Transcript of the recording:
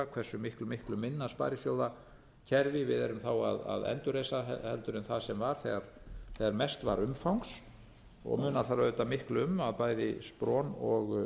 hversu miklu miklu minna sparisjóðakerfi við erum að endurreisa heldur en það sem var þegar mest var umfangs munar það auðvitað miklu um að bæði spron og